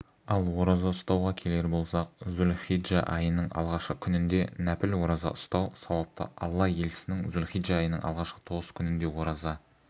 ал ораза ұстауға келер болсақ зулхиджа айының алғашқы күнінде нәпіл ораза ұстау сауапты алла елшісінің зүлхиджа айының алғашқы тоғыз күнінде ораза